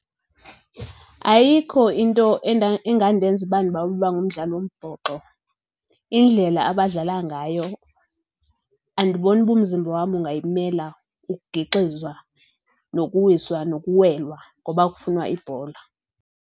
Ayikho into engandenza uba ndibawele ukuba ngumdlali wombhoxo. Indlela abadlala ngayo andiboni uba umzimba wam ungayimela, ukugixizwa nokuwiswa nokuwelwa ngoba kufunwa ibhola.